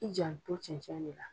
I jan to cɛncɛn le la.